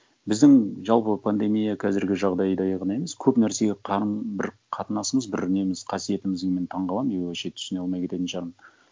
біздің жалпы пандемия қазіргі жағдайдай ғана емес көп нәрсеге бір қатынасымыз бір неміз қасиетіміз мен таңқаламын и вообще түсіне алмай кететін шығармын